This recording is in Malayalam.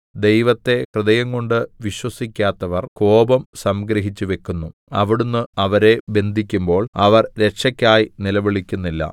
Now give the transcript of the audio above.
ദൈവത്തെ ഹൃദയംകൊണ്ട് വിശ്വസിക്കാത്തവര്‍ കോപം സംഗ്രഹിച്ചു വയ്ക്കുന്നു അവിടുന്ന് അവരെ ബന്ധിക്കുമ്പോൾ അവർ രക്ഷക്കായി നിലവിളിക്കുന്നില്ല